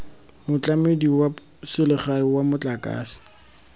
motlamedi wa selegae wa motlakase